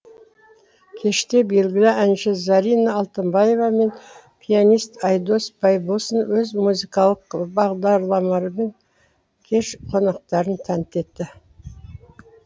кеште белгілі әнші зарина алтынбаева мен пианист айдос байбосын өз музыкалық бағдарламалармен кеш қонақтарын тәнтті етті